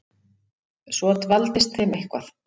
Svo dvaldist þeim eitthvað.